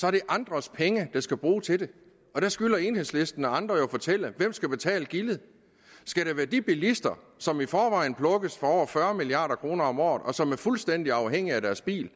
er det andres penge der skal bruges til det der skylder enhedslisten og andre jo at fortælle hvem der skal betale gildet skal det være de bilister som i forvejen plukkes for over fyrre milliard kroner om året og som er fuldstændig afhængige af deres bil